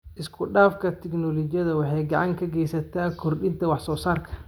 Isku dhafka tignoolajiyada waxay gacan ka geysataa kordhinta wax soo saarka.